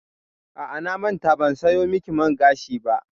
A'a, na manta ban sayo miki man gashi ba.